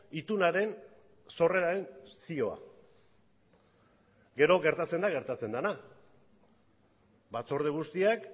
itunaren sorreraren zioa gero gertatzen da gertatzen dena batzorde guztiak